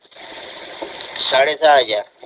साडे सहा हजार